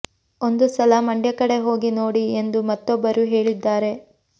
ಒಂದು ಸಲ ಮಂಡ್ಯ ಕಡೆ ಹೋಗಿ ನೋಡಿ ಎಂದು ಮತ್ತೊಬ್ಬರು ಹೇಳಿದ್ದಾರೆ